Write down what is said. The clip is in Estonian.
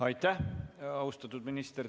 Aitäh, austatud minister!